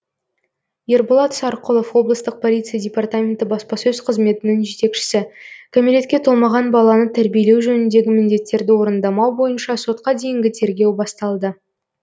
ерболат сарқұлов облыстық полиция департаменті баспасөз қызметінің жетекшісі кәмелетке толмаған баланы тәрбиелеу жөніндегі міндеттерді орындамау бойынша сотқа дейінгі тергеу басталды